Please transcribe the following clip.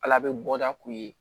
Ala bɛ bɔda k'u ye